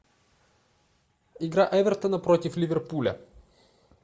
игра эвертона против ливерпуля